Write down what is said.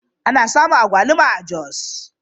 Ana samun agwaluma a Jos.